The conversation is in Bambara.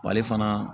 B'ale fana